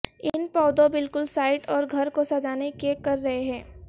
ان پودوں بالکل سائٹ اور گھر کو سجانے کے کر رہے ہیں